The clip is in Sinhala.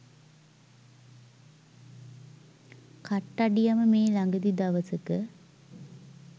කට්ටඩියම මේ ළගදි දවසක